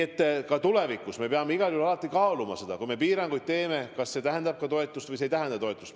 Ja ka tulevikus me peame igal juhul alati kaaluma seda, et kui me piiranguid teeme, kas see tähendab ka toetust või see ei tähenda toetust.